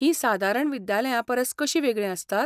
हीं सादारण विद्यालयांपरस कशीं वेगळीं आसतात?